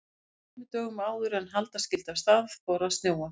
En tveimur dögum áður en halda skyldi af stað fór að snjóa.